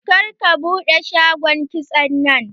Kar ka buɗe shagon kitson nan!